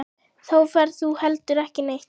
Þá ferð þú heldur ekki neitt.